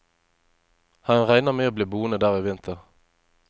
Han regner med å bli boende der i vinter.